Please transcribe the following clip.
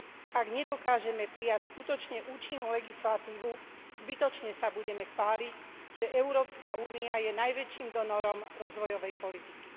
Ak nedokážeme prijať skutočne účinnú legislatívu, zbytočne sa budeme chváliť, že Európska únia je najväčším donorom rozvojovej politiky.